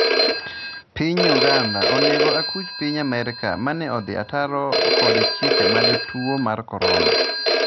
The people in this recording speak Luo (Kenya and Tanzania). piny Uganda onego akuch Piny Amerka mane odhi ataro kod chike mag tuo mar korona